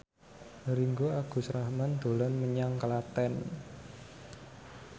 Ringgo Agus Rahman dolan menyang Klaten